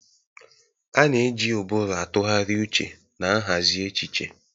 A na-eji ụbụrụ atụgharị uche na nhazi echiche.